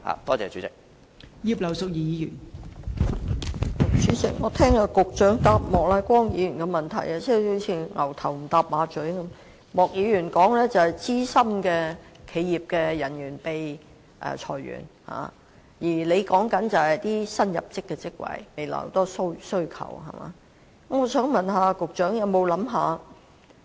代理主席，局長就莫乃光議員主體質詢提供的主體答覆，好像"牛頭不搭馬嘴"般，莫議員關注的是企業中的資深人員被裁員，而局長則談及未來的殷切需求及新入職職位。